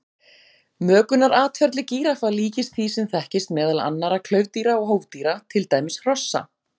Mökunaratferli gíraffa líkist því sem þekkist meðal annarra klaufdýra og hófdýra, til dæmis hrossa.